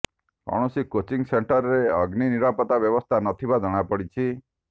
କୌଣସି କୋଚିଂ ସେଣ୍ଟରରେ ଅଗ୍ନି ନିରାପତ୍ତା ବ୍ୟବସ୍ଥା ନଥିବା ଜଣାପଡିଛି